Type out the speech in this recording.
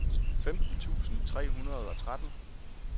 femten tusind tre hundrede og tretten